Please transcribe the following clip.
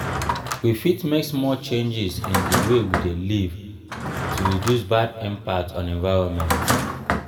we fit make small changes in di wey we dey live to reduce bad impact on environment